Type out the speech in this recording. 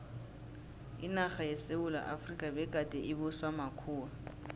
inarha yesewula efrika begade ibuswa makhuwa